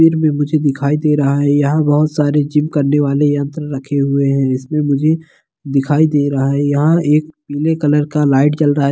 फिर भी मुझे दिखाई दे रहा है यहाँ बहुत सारे जीम करने वाले यंत्र रखे हुए है इसमें मुझे दिखाई दे रहा है यहाँ एक पीले कलर का लाइट जल रहा --